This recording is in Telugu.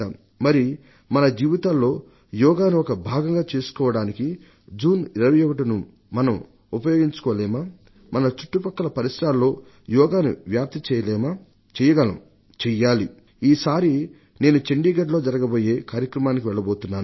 మరి మన జీవితాల్లో యోగాను ఒక భాగంగా చేసుకోవడానికి జూన్ 21ను మనం ఉపయోగించుకోలేమా మన చుట్టుపక్కల పరిసరాల్లో యోగాను వ్యాప్తి చేయలేమా చెయ్యగలం చెయ్యాలి ఈసారి నేను చండీగఢ్లో జరగబోయే కార్యక్రమానికి వెళ్లబోతున్నాను